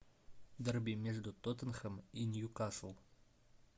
дерби между тоттенхэм и ньюкасл